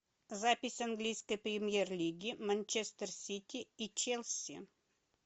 запись английской премьер лиги манчестер сити и челси